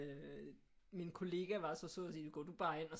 Øh min kollega var så sød at sige gå du bare ind og